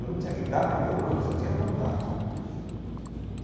Eu não tinha guitarra nem violão, eu só tinha vontade cara.